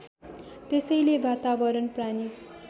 त्यसैले वातावरण प्राणी